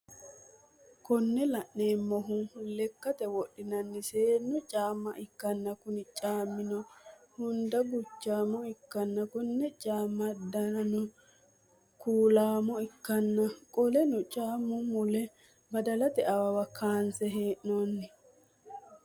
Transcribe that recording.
Kune laneemmohu lekkate wodhinanni seennu caaamma ikkanna Kuni caammino hundda guchaaamo ikkanna Konni caamm8 danino kuulAmo ikkanna qoleno caammu mule baalddete awawa kaansse henoonni